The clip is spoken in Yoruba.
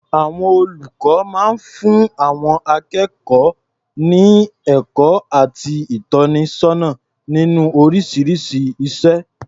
Àwọn olùkọ máa ń fún àwọn akékọ̀ọ́ ní ẹ̀kọ́ àti ìtọ́nisọ́nà nínú oríṣiríṣi iṣẹ́.